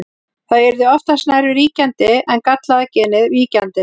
Það yrði oftast nær ríkjandi en gallaða genið víkjandi.